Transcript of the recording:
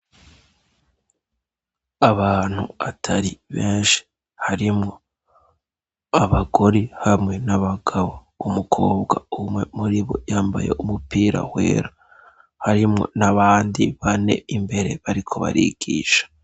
Abantu atari benshi harimwo abagore hamwe n'abagabo umukobwa umwe muri bo yambaye umupira wera harimwo ni abandi bane imbere bariko barigisha.